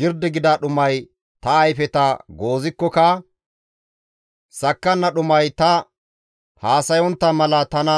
Girdi gida dhumay ta ayfeta goozikkoka; sakkanna dhumay ta haasayontta mala tana